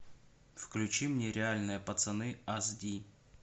включи мне реальные пацаны аз ди